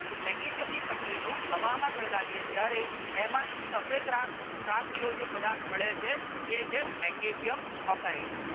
તો મેગ્નેશિયમ ની પટ્ટી નું હવામાં સળગાવીએ ત્યારે એમાંથી સફેદ રાખ રાખ જેવો જે પદાર્થ મળે છે આવે છે મેગ્નેશિયમ ઓસાઇડ.